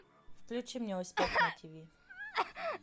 включи мне успех на тв